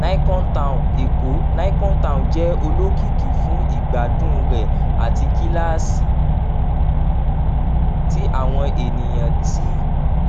nicon town èkó nicon town jẹ olokiki fun igbadun rẹ ati kilasi ti awọn eniyan ti